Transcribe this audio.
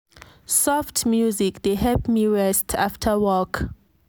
soft music dey help me rest after work